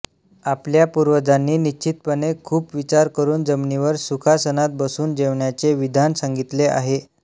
आपल्या पूर्वजांनी निश्चितपणे खूप विचार करून जमिनीवर सुखासनात बसून जेवण्याचे विधान सांगितले आहे